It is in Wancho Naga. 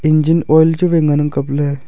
engine oil chu wai ngan ang kapley.